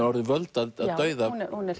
orðið völd að dauða já hún er